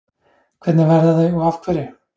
Hvernig verða þau og af hverju?